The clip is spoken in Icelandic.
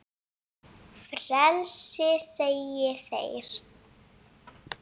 Frelsi segja þeir.